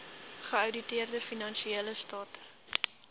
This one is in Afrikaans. geouditeerde finansiële state